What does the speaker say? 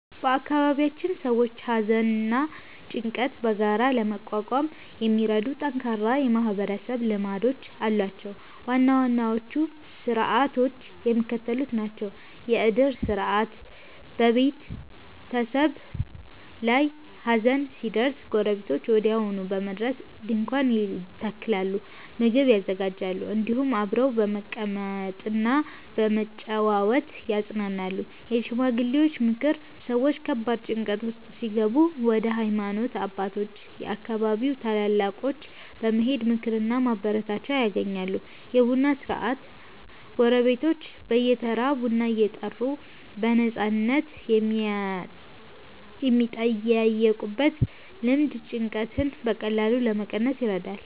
በአካባቢያችን ሰዎች ሐዘንና ጭንቀትን በጋራ ለመቋቋም የሚረዱ ጠንካራ የማህበረሰብ ልማዶች አሏቸው። ዋና ዋናዎቹ ሥርዓቶች የሚከተሉት ናቸው፦ የዕድር ሥርዓት፦ በቤተሰብ ላይ ሐዘን ሲደርስ ጎረቤቶች ወዲያውኑ በመድረስ ድንኳን ይተክላሉ፣ ምግብ ያዘጋጃሉ፤ እንዲሁም አብረው በመቀመጥና በመጨዋወት ያጽናናሉ። የሽማግሌዎች ምክር፦ ሰዎች ከባድ ጭንቀት ውስጥ ሲገቡ ወደ ሃይማኖት አባቶችና የአካባቢው ታላላቆች በመሄድ ምክርና ማበረታቻ ያገኛሉ። የቡና ሥነ-ሥርዓት፦ ጎረቤቶች በየተራ ቡና እየጠሩ በነፃነት የሚጠያየቁበት ልማድ ጭንቀትን በቀላሉ ለመቀነስ ይረዳል።